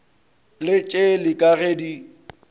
le tšeli ka ge di